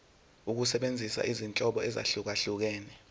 ukusebenzisa izinhlobo ezahlukehlukene